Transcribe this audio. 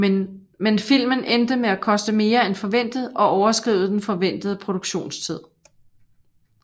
Men filmen endte med at koste mere end forventet og overskride den forventede produktionstid